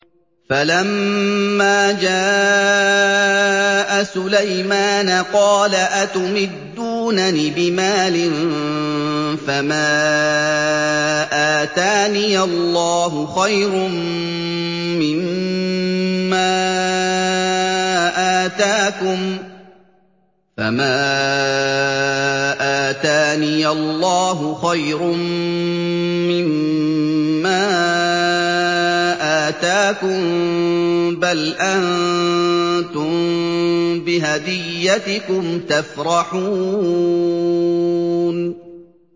فَلَمَّا جَاءَ سُلَيْمَانَ قَالَ أَتُمِدُّونَنِ بِمَالٍ فَمَا آتَانِيَ اللَّهُ خَيْرٌ مِّمَّا آتَاكُم بَلْ أَنتُم بِهَدِيَّتِكُمْ تَفْرَحُونَ